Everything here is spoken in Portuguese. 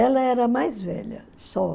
Ela era mais velha, só.